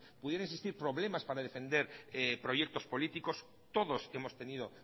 pudieran existir problemas para defender proyectos políticos todos hemos tenido